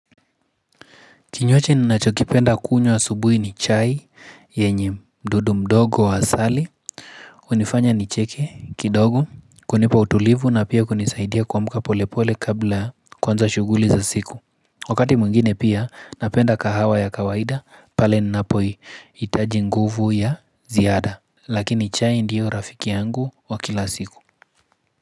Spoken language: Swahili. Kinywaji ninacho kipenda kunywa asubuhi ni chai yenye yenye mdudu mdogo wa asali hunifanya nicheke kidogo kunipa utulivu na pia kunisaidia kuamka pole pole kabla kuanza shughuli za siku Wakati mwingine pia napenda kahawa ya kawaida pale ninapo hitaji nguvu ya ziada Lakini chai ndiyo rafiki yangu wa kila siku.